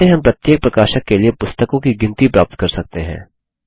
कैसे हम प्रत्येक प्रकाशक के लिए पुस्तकों की गिनती प्राप्त कर सकते हैं